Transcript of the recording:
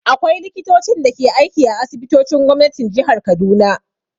Akwai Likitocin da ke aiki a asibitocin gwamnatin jihar Kaduna.